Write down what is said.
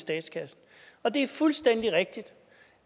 statskassen og det er fuldstændig rigtigt